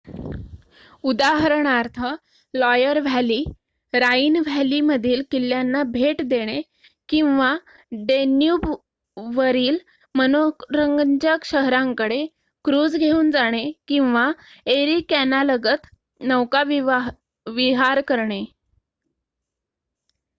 उदाहरणार्थ Loire valley Rhine व्हॅलीमधील किल्ल्यांना भेट देणे किंवा डॅन्यूबवरील मनोरंजक शहरांकडे क्रूझ घेऊन जाणे किंवा एरी कॅनालगत नौकाविहार करणे